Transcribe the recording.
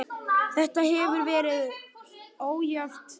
Þetta hefur verið ójafn leikur.